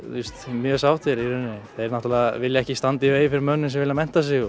mjög sáttir í rauninni þeir náttúrulega vilja ekki standa í vegi fyrir mönnum sem vilja mennta sig